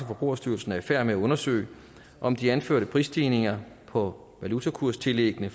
forbrugerstyrelsen er i færd med at undersøge om de anførte prisstigninger på valutakurstillæggene